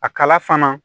A kala fana